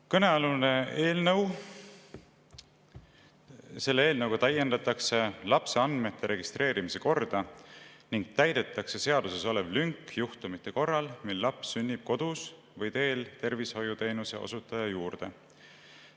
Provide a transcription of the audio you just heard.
Kõnealuse eelnõu kohaselt täiendatakse lapse andmete registreerimise korda ning täidetakse seaduses olev lünk juhtumite korral, mil laps sünnib kodus või teel tervishoiuteenuse osutaja juurde.